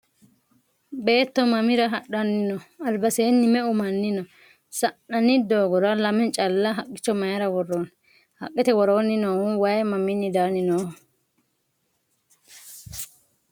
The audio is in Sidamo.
Beetto mamira hadhanni no? alibaseenni me'u manni no?sa'nanni doogora lamme calla haqicho mayiira woroonni? haqqete woroonni noohu wayi mamiinni danni nooho?